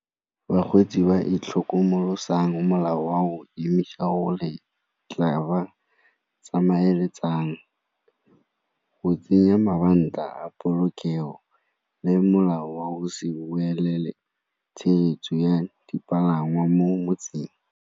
Bakgweetsi ba itlhokomolosang molao wa go tla ba tsamaeletsang. Go tsenya mabanta polokego le molao wa o se boelele tshegetso ya dipalangwa mo motseng.